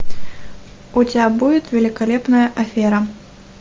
у тебя будет великолепная афера